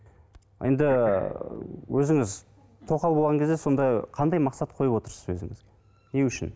енді өзіңіз тоқал болған кезде сонда қандай мақсат қойып отырсыз өзіңізге не үшін